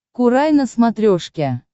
курай на смотрешке